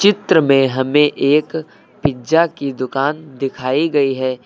चित्र में हमें एक पिज़्ज़ा की दुकान दिखाई गई है।